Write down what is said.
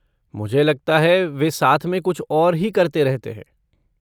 मुझे लगता है वे साथ में कुछ और ही करते रहते हैं।